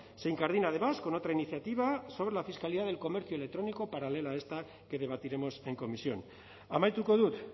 se incardina además con otra iniciativa sobre la fiscalidad del comercio electrónico paralela a esta que debatiremos en comisión amaituko dut